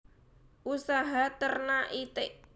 Usaha Ternak Itik